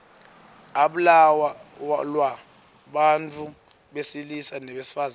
ablalwa bantfu besilisa nebesifazang